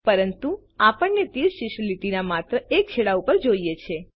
પરંતુ આપણને તીર શીર્ષ લીટીના માત્ર એક છેડા પર જોઈએ છે